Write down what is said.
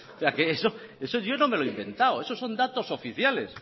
o sea esto yo no me lo he inventado estos son datos oficiales